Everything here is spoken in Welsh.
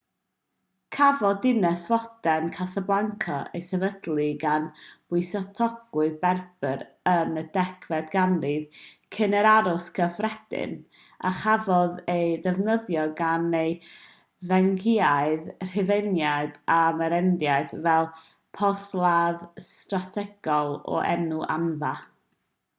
cafodd dinas fodern casablanca ei sefydlu gan bysgotwyr berber yn y 10fed ganrif cyn yr oes gyffredin a chafodd ei defnyddio gan y ffeniciaid rhufeiniaid a'r merenidau fel porthladd strategol o'r enw anfa